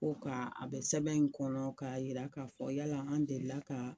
Ko ka a bɛ sɛbɛn in kɔnɔ ka jira k'a fɔ yala an delila ka